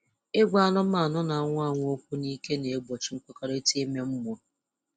Ịgwa anụmanụ na-anwụ anwụ okwu n'ike na-egbochi nkwukọrịta ime mmụọ.